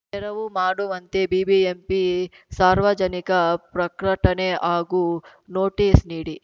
ತೆರವು ಮಾಡುವಂತೆ ಬಿಬಿಎಂಪಿ ಸಾರ್ವಜನಿಕ ಪ್ರಕಟಣೆ ಹಾಗೂ ನೋಟಿಸ್‌ ನೀಡಿ